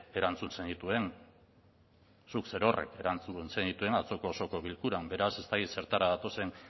erantzun zenituen zuk zerorrek erantzun zenituen atzoko osoko bilkuran beraz ez dakit zertara datozen